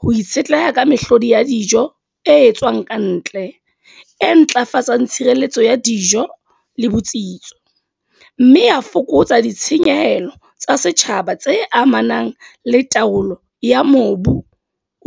ho itshetleha ka mehlodi ya dijo, e etswang ka ntle. E ntlafatsang tshireletso ya di dijo, le botsitso. Mme ya fokotsa ditshenyehelo tsa setjhaba tse amanang le taolo ya mobu